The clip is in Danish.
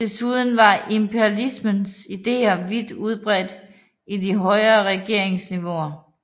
Desuden var imperialismens ideer vidt udbredte i de højere regeringsniveauer